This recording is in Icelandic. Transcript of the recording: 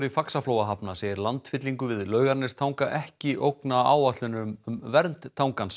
Faxaflóahafna segir landfyllingu við Laugarnestanga ekki ógna áætlunum um vernd